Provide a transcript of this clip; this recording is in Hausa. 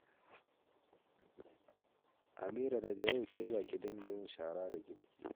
Amira, daga yau ke za ki dinga yin shara da girki